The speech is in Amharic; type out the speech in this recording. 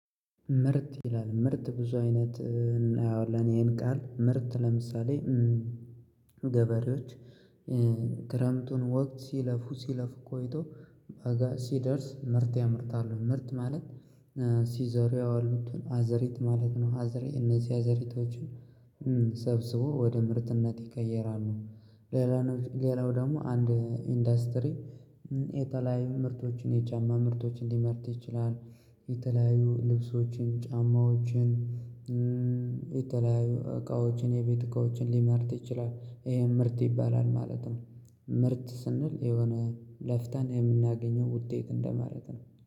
ምርትይላል ምርት ብዙ አይነት እናየዋለን ይሄን ቃል ምርት ለምሳሌ ገበሬዎች ክረምቱን ወቅት ሲለፉ ሲለፉ ቆይተው በጋ ሲደርስ ምርት ያመርታሉ ምርት ማለት ሲዘሩ የዋሉትን አዘሪት ማለት ነው አዘሬ እነዚህ አዘሪቶችን ሰብስበው ወደ ምርትነት ይቀየራሉ። ሌላ ሌላው ደግሞ አንድ ኢንዱስትሪ የተለያዩ ምርቶችን የጫማ ምርቶችን ሊያመርት ይችላል። የተለያዩ ልብሶችን ጫማዎችን የተለያዩ እቃዎችን የቤት እቃዎችን ሊያመርት ይችላል ይሄ ምርት ይባላል ማለት ነው። ምርት ስንል የሆነ ለፍተን የምናገኘው ውጤት እንደማለት ነው